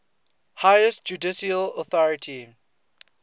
highest judicial authority